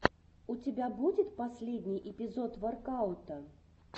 у тебя будет последний эпизод воркаута